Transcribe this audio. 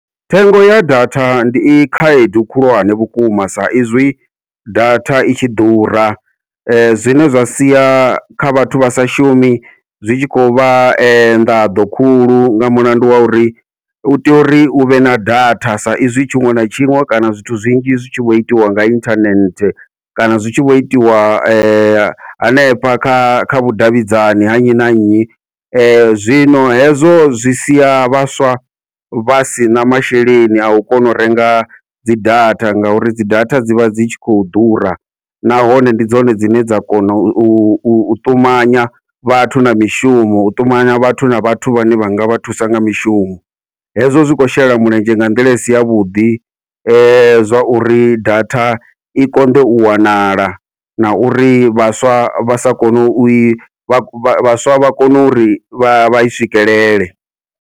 Thengo ya data ndi i khaedu khulwane vhukuma, sa izwi data i tshi ḓura zwine zwa sia kha vhathu vha sa shumi zwi tshi khou vha nḓaḓo khulu nga mulandu wa uri u tea uri uvhe na data, sa izwi tshiṅwe na tshiṅwe kana zwithu zwinzhi zwi tshi vho itiwa nga inthanethe, kana zwi tshi vho itiwa hanefha kha kha vhudavhidzani ha nnyi na nnyi. Zwino hezwo zwi sia vhaswa vha sina masheleni au koni u renga dzi data, ngauri dzi data dzivha dzi tshi khou ḓura nahone ndi dzone dzine dza kona u ṱumanya vhathu na mishumo u ṱumanya vhathu na vhathu vhane vhanga vha thusa nga mishumo, hezwo zwi khou shela mulenzhe nga nḓila isi yavhuḓi zwa uri data i konḓe u wanala na uri vhaswa vha sa kone u i vha vhaswa vha kone uri vha i swikelele.